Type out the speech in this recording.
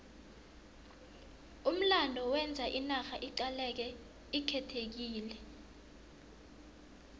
umlando wenza inarha iqaleke ikhethekile